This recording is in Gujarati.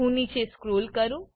હું નીચે સ્ક્રોલ કરું